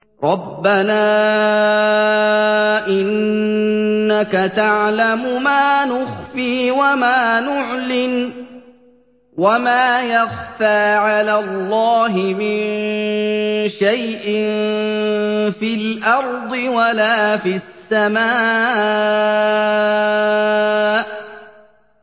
رَبَّنَا إِنَّكَ تَعْلَمُ مَا نُخْفِي وَمَا نُعْلِنُ ۗ وَمَا يَخْفَىٰ عَلَى اللَّهِ مِن شَيْءٍ فِي الْأَرْضِ وَلَا فِي السَّمَاءِ